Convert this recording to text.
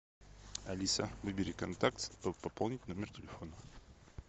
алиса выбери контакт чтобы пополнить номер телефона